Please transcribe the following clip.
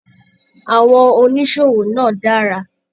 Àwọn oníṣòwò náà dára.